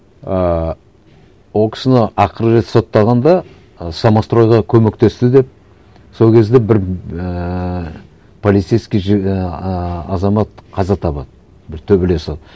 ыыы ол кісіні ақырғы рет соттағанда ана самостройға көмектесті деп сол кезде бір ііі полицейский ііі ааа азамат қаза табады бір төбелесіп